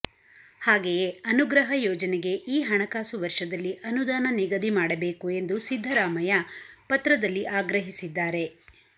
ಹಾಗೆಯೇ ಅನುಗ್ರಹ ಯೋಜನೆಗೆ ಈಹಣಕಸು ವರ್ಷದಲ್ಲಿ ಅನುದಾನ ನಿಗದಿ ಮಾಡಬೇಕು ಎಂದು ಸಿದ್ದರಾಮಯ್ಯ ಪತ್ರದಲ್ಲಿ ಆಗ್ರಹಿಸಿದ್ದಾರೆ